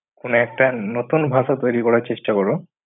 কোন একটা নতুন ভাষা তৈরি করার চেষ্টা করুন।